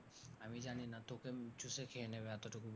আমি জানিনা তোকে চুষে খেয়ে নেবে এতটুকু বলি।